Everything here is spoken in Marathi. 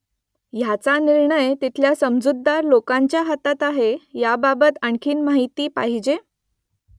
ह्याचा निर्णय तिथल्या समजूतदार लोकांच्या हातात आहे याबाबत आणखी माहिती पाहिजे ?